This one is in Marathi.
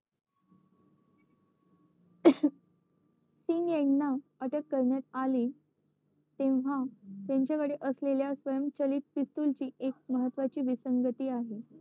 सिंग यांना अटक करण्यात आली तेव्हा त्यांच्या कडे असलेल्या पिस्तुलची महत्वाची विसंगती आहे